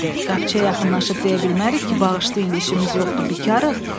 Qapçıya yaxınlaşıb deyə bilmərik ki, bağışlayın işimiz yoxdur, bikarıq.